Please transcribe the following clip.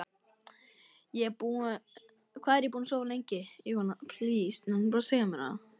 Hvað er ég búinn að sofa lengi?